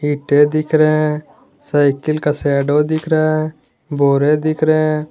ईंटें दिख रहे हैं साइकिल का शैडो दिख रहा है बोरे दिख रहे हैं।